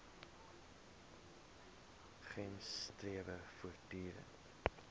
gems strewe voortdurend